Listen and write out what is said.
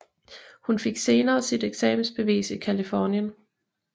Hun fik senere sit eksamensbevis i Californien